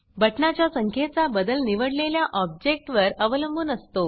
button ना च्या संख्येचा बदल निवडलेल्या ऑब्जेक्ट घटक वर अवलंबुन असतो